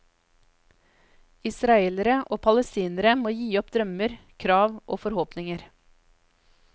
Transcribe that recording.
Israelere og palestinere må gi opp drømmer, krav og forhåpninger.